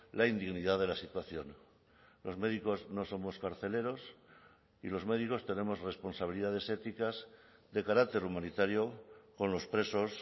la indignidad de la situación los médicos no somos carceleros y los médicos tenemos responsabilidades éticas de carácter humanitario con los presos